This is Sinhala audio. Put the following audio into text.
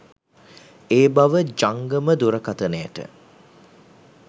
ඒ බව ජංගම දුරකථනයට